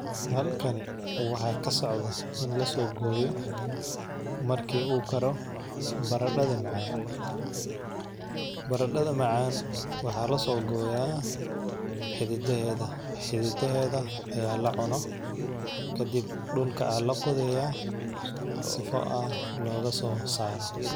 Halkani waxaa ka socda in la so gooyo markii uu karo baradhada macaan. Baradhada macaan waxaa la soo gooyaa xiddidaheeda. Xiddidaheeda ayaa la cuno. Ka dib dhulka aan la qudeeyaa si fo ah looga soo saaro.